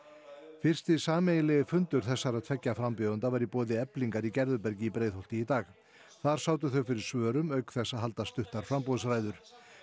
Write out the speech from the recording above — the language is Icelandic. fyrsti sameiginlegi fundur þessara tveggja frambjóðenda var í boði Eflingar í Gerðubergi í Breiðholti í dag þar sátu þau fyrir svörum auk þess að halda stuttar framboðsræður